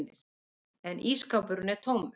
En ísskápurinn er tómur.